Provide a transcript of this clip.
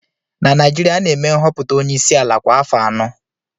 Na Naijiria, a na-eme nhọpụta onye isi ala kwa afọ anọ